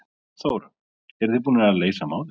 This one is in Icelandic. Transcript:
Þóra: Eruð þið búnir að leysa málið?